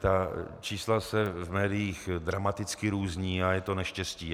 Ta čísla se v médiích dramaticky různí a je to neštěstí.